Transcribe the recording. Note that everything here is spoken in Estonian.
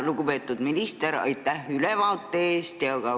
Lugupeetud minister, aitäh ülevaate eest!